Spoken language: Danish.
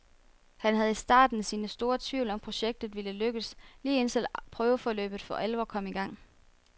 Han havde i starten sine store tvivl om projektet ville lykkes, lige indtil prøveforløbet for alvor kom igang.